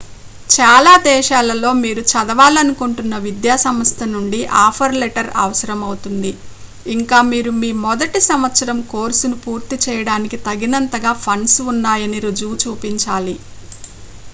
చాలా దేశాలలో మీరు చదవాలనుకొంటున్న విద్యాసంస్థ నుండి ఆఫర్ లెటర్ అవసరమౌతుంది ఇంకా మీరు మీ మొదటి సంవత్సరం కోర్సును పూర్తి చేయడానికి తగినంతగా ఫండ్స్ ఉన్నాయని రుజువు చూపించాలి